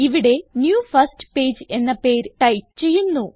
ഇവിടെ new first page എന്ന പേര് ടൈപ്പ് ചെയ്യുന്നു